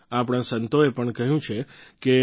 આપણાં સંતોએ પણ કહ્યું છે કે